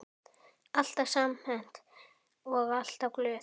Alltaf samhent og alltaf glöð.